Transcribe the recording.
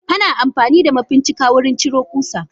Ana amfanida ma fincika wurin ciro kusa.